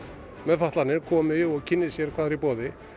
með fatlanir komi og kynni sér hvað er í boði